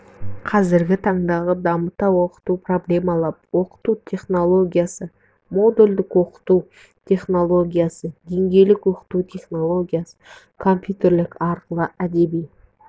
қазіргі таңдағы дамыта оқыту проблемалап оқыту технологиясы модульдік оқыту технологиясы деңгейлік оқыту технологиясы компьютерлік арқылы әдеби